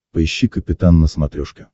поищи капитан на смотрешке